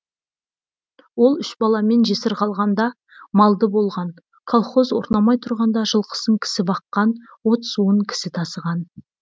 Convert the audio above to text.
ол үш баламен жесір қалғанда малды болған колхоз орнамай тұрғанда жылқысын кісі баққан от суын кісі тасыған